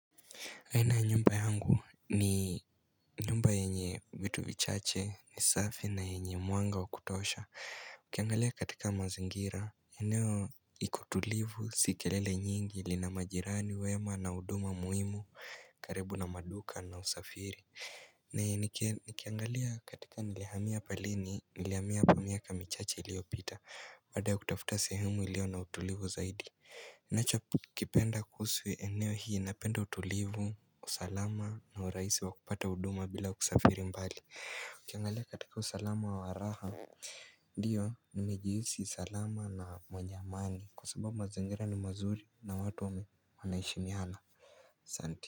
Haina nyumba yangu ni nyumba yenye vitu vichache ni safi na yenye mwanga wa kutosha Nikiangalia katika mazingira, eneo iko tulivu si kelele nyingi lina majirani wema na huduma muhimu karibu na maduka na usafiri Nikiangalia katika nilihamia palini, nilihamia hapa miaka michache iliyopita Baada ya kutafuta sehumu ilio na utulivu zaidi ninachokipenda kusu eneo hii napenda utulivu usalama na urahisi wa kupata huduma bila kusafiri mbali Ukiangale katika usalama wa raha Ndiyo nimejihisi usalama na mwenye amani kwa sababu mazingira ni mazuri na watu wameheshimiana asanti.